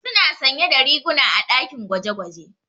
Suna sanye da riguna a ɗakin gwaje-gwaje.